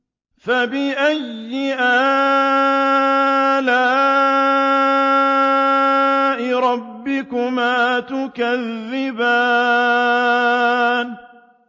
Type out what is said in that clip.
فَبِأَيِّ آلَاءِ رَبِّكُمَا تُكَذِّبَانِ